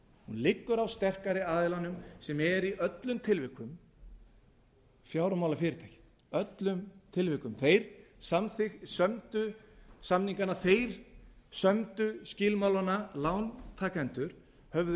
liggur á sterkari aðilanum sem er í öllum tilvikum fjármálafyrirtækinu öllum tilvikum þeir sömdu samningana þeir sömdu skilmálana lántakendur höfðu